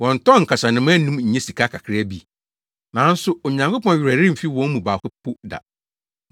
Wɔntɔn nkasanoma anum nnye sika kakraa bi? Nanso Onyankopɔn werɛ remfi wɔn mu baako po da.